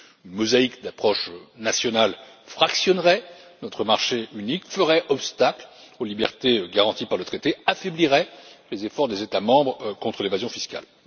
Une mosaïque d'approches nationales fractionnerait notre marché unique, ferait obstacle aux libertés garanties par le traité, affaiblirait les efforts des États membres contre l'évasion fiscale.